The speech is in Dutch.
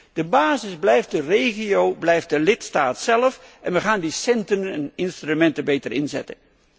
Nee, de basis blijft de regio, blijft de lidstaat zelf en wij gaan die centen en instrumenten beter inzetten.